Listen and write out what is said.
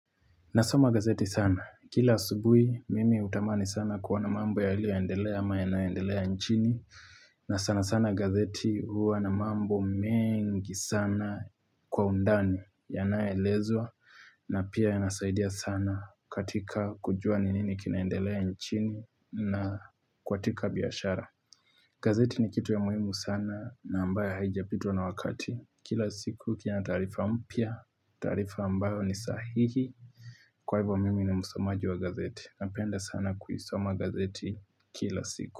Nasoma gazeti sana. Kila asubuhi, mimi utamani sana kuona mambo yali yoendelea ama ya naendelea nchini. Na sana sana gazeti huwa na mambo mengi sana kwa undani ya nayoelezwa na pia ya nasaidia sana katika kujua ninini kinaendelea nchini na kwa tika biyashara. Gazeti ni kitu ya muhimu sana na ambaye haijapitwa na wakati. Kila siku kia na taarifa mpya taarifa ambayo ni sahihi Kwa hivyo mimi ni msomaji wa gazeti napenda sana kuisoma gazeti Kila siku.